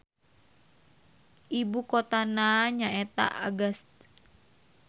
Ibukotana nyaeta Agats.